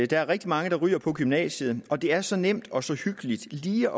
der er rigtig mange der ryger på gymnasiet og det er så nemt og så hyggeligt lige